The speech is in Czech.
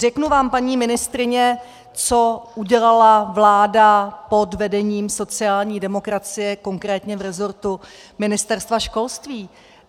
Řeknu vám, paní ministryně, co udělala vláda pod vedením sociální demokracie, konkrétně v rezortu Ministerstva školství.